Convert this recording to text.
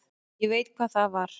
Ég veit hvað það var.